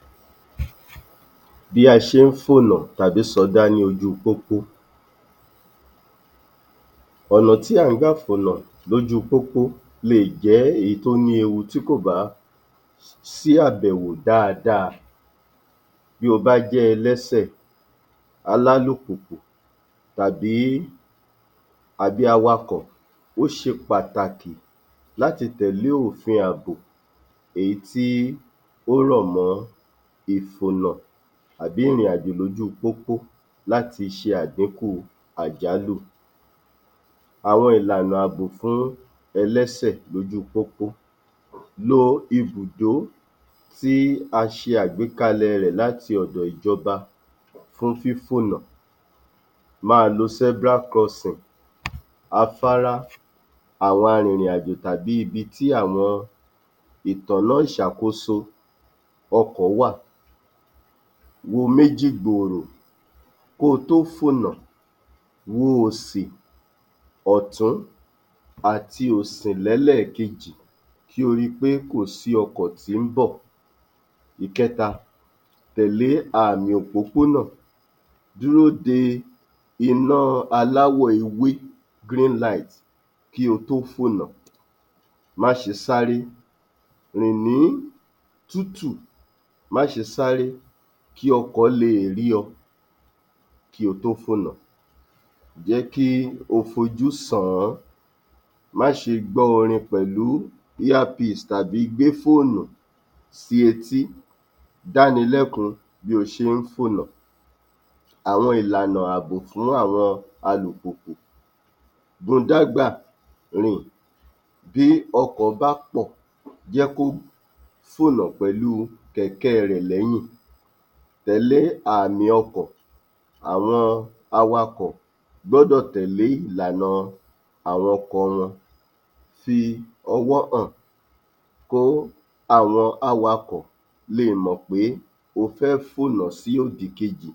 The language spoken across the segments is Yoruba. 25. Bí a ṣe ń fònà tàbí sọdá ní ojúu pópó Ọ̀nà tí à ń gbà fònà lójúu pópó leè jẹ́ èyí tó ní ewu tí kò bá um sí àbẹ̀wò dáadáa. Bí o bá jẹ́ ẹlẹ́sè, alálùpùpù tàbí, àbí awakọ̀, ó ṣe pàtàkì láti tẹ̀lé òfin àbò, èyí tí ó rọ̀ mọ́ ìfònà àbí ìrìnàjò lójú pópó láti ṣe àdíkù àjálù. Àwon ìlànà àbò fún ẹlẹ́sè lójú pópó Lo ibùdó tí a ṣe àgbékalẹ̀ rẹ̀ láti ọ̀dọ̀ ìjọba fún fífònà, máa lo zebra crossing, afárá àwọn arìnrìn-àjò tàbí ibi tí àwọn ìtọ́nà ìṣàkóso ọkọ̀ wà. Wo méjì gbòòrò kó o tó fònà, wo òsì, ọ̀tún àti òsì lẹ́lẹ́ẹ̀kejì kí o ri pé kò sí ọkọ̀ tí ń bọ̀. Ìkẹta, tẹ̀lé àmì òpópónà dúró de iná aláwọ̀ ewé green light kí o tó fònà, má ṣe sáré rìn ní tútù. Má ṣe sáré kí ọkọ̀ leè rí ọ kí o tó fònà. Jẹ́ kí o fojú sàn-án. Má ṣe gbọ́ orin pẹ̀lú ear piece tàbí gbé fóònù sí etí. Dáni lẹ́kun bí o ṣe ń fònà. Àwọn ìlànà fún àbò fún àwọn alùpùpù modágbàrìn bí ọkọ̀ bá pọ̀ jẹ́ kó fònà pẹ̀lúu kẹ̀kẹ́ rẹ̀ lẹ́yìn, tẹ̀lé àmì ọkọ̀ àwọn awakọ̀ gbọ́dọ̀ tẹ̀lé ìlànà àwọn ọkọ̀ wọn. Fi ọwọ́ hàn kó àwọn awakọ̀ lè mọ̀ pé o fẹ́ fònà sí òdì kejì,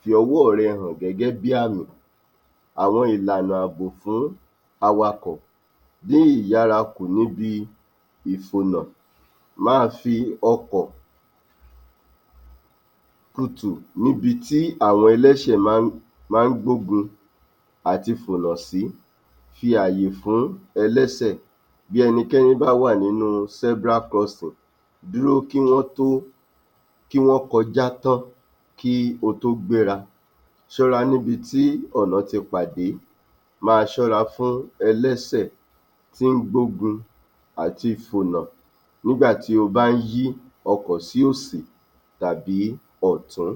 fi ọwọ́ rẹ hàn gẹ́gẹ́ bí àmì. Àwọn ìlànà àbò fún awakọ̀ Dí ìyára kù níbi ìfònà, máa fi ọkọ̀ tutù níbi tí àwọn ẹlẹ́sè um máa ń gbógun àti fònà sí, fi ààyè fún ẹlẹ́sè bí ẹnikẹ́ni bá wà nínú zebra crossing dúró kí wọ́n tó, kí wọ́n kọjá tán kí o tó gbéra. Ṣọ́ra níbi tí ọ̀nà ti pàdé, máa ṣọ́ra fún ẹlẹ́sè tó ń gbógun àti fònà nígbà tí o bá ń yí ọkọ̀ sí òsì tàbí ọ̀tún